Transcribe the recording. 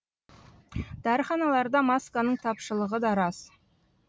дәріханаларда масканың тапшылығы да рас